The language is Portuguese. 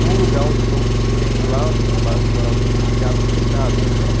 num lugar onde não se tem lá, nesse bairro que eu morava, não tem teatro, não tem nada, né?